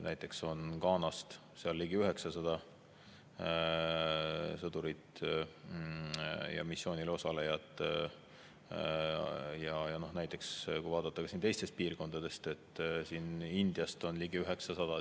Näiteks on Ghanast seal ligi 900 sõdurit ja muud missioonil osalejat, ja kui vaadata teisi piirkondi, siin näiteks Indiast on ka ligi 900.